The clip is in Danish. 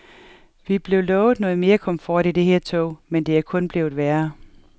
Vi blev lovet noget mere komfort i det her tog, men det er kun blevet værre.